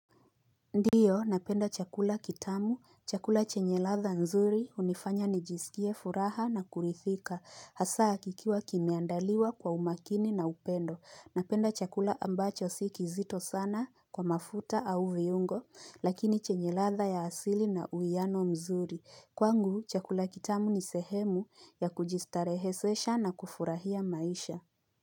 Ndiyo, napenda chakula kitamu. Chakula chenye ladha nzuri unifanya nijisikie furaha na kurithika. Hasaa kikiwa kimeandaliwa kwa umakini na upendo. Napenda chakula ambacho siki zito sana kwa mafuta au viungo, lakini chenye ladha ya asili na uiano mzuri. Kwa ngu, chakula kitamu ni sehemu ya kujistarehesesha na kufurahia maisha.